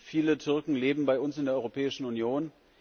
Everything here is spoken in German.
Viele Türken leben bei uns in der Europäischen Union.